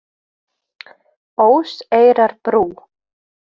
Óseyrarbrú